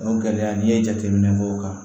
O gɛlɛya n'i ye jateminɛ k'o kan